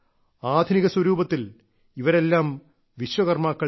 ആധുനിക സ്വരൂപത്തിൽ ഇവരെല്ലാം വിശ്വകർമ്മാക്കൾ തന്നെ